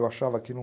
Eu achava aquilo um